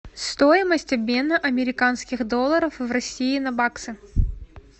стоимость обмена американских долларов в россии на баксы